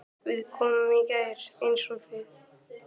Við komum í gær eins og þið.